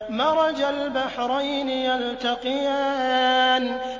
مَرَجَ الْبَحْرَيْنِ يَلْتَقِيَانِ